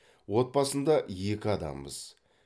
отбасында екі адамбыз